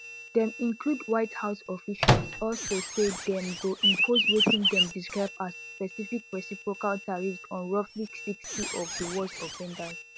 dem include white house officials also say dem go impose wetin dem describe as specific reciprocal tariffs on roughly sixty of di worst offenders